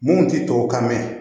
Mun ti tubabukan mɛn